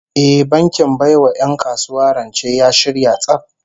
Eh, bankin bai wa 'yan kasuwa rance ya shirya tsaf